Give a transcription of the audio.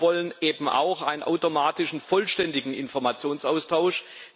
Und wir wollen eben auch einen automatischen, vollständigen Informationsaustausch.